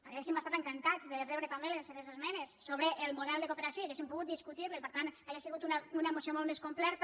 hauríem estat encantats de rebre també les seves esmenes sobre el model de cooperació i hauríem pogut discutir lo i per tant hauria sigut una moció molt més completa